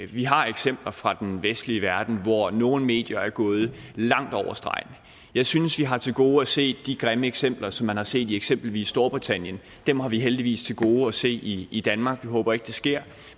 vi har eksempler fra den vestlige verden hvor nogle medier er gået langt over stregen jeg synes vi har til gode at se de grimme eksempler som man har set i eksempelvis storbritannien dem har vi heldigvis til gode at se i i danmark jeg håber ikke det sker